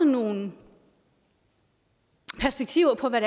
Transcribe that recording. nogle perspektiver på hvad